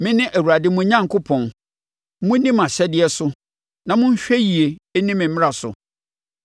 Mene Awurade, mo Onyankopɔn; monni mʼahyɛdeɛ so na monhwɛ yie nni me mmara so.